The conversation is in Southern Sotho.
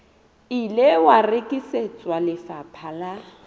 ile wa rekisetswa lefapha la